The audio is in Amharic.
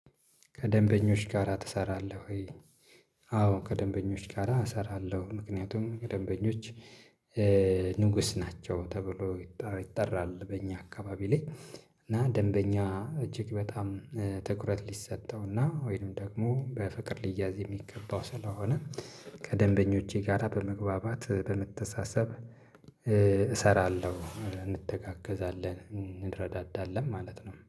ከደንበኞች ጋራ ትሰራለህ ወይ? አዎ ከደንበኞች ጋራ እሰራለሁ ምክንያቱም ከደንበኞች ንጉስ ናቸው ተብሎ ይጠራል በእኛ አካባቢ ላይ እና ደንበኛ እጅግ በጣም ትኩረት ሊሰጠውና ወይንም ደግሞ በፍቅር ልይዝ የሚገባው ስለሆነ ከደንበኞቼ ጋር በመግባባት በመተሳሰብ እሰራለሁ እንተጋገዛለን እንረዳዳለን ማለት ነው።